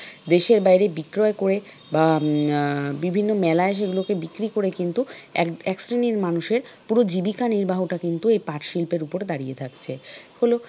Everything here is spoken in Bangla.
দেশের বাইরে বিক্রয় করে বা আহ বিভিন্ন মেলায় সেগুলো বিক্রি করে কিন্তু এক শ্রেণীর মানুষের পুরো জীবিকা নির্বাহ টা কিন্তু এই পাট শিল্পের উপর দাঁড়িয়ে থাকছে হল।